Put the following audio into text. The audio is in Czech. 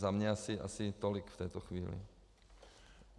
Za mě asi tolik v této chvíli.